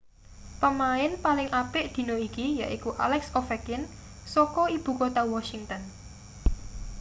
pemain paling apik dina iki yaiku alex ovechkin saka ibu kutha washington